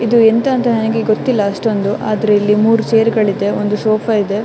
ಇದು ಎಂತ ಅಂತ ಗೊತ್ತಿಲ್ಲ ನನಗೆ ಅಷ್ಟೊಂದು ಆದರೆ ಇಲ್ಲಿ ಮೂರು ಚೇರ್ ಗಳಿವೆ ಒಂದು ಸೋಫಾ ಇದೆ.